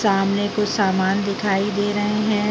सामने कुछ सामान दिखाई दे रहे हैं।